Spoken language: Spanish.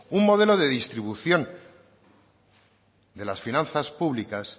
un modelo de distribución de las finanzas públicas